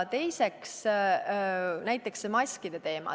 Teiseks, näiteks see maskide teema.